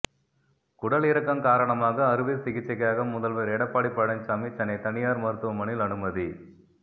குடலிறக்கம் காரணமாக அறுவை சிகிச்சைக்காக முதல்வர் எடப்பாடி பழனிசாமி சென்னை தனியார் மருத்துவமனையில் அனுமதி